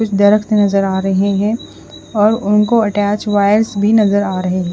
कुछ दरख्त नज़र आ रहे है और उनको अटेच वायर्स भी नज़र आ रहे है।